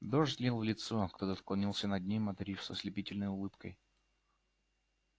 дождь лил в лицо кто-то склонился над ним одарив с ослепительной улыбкой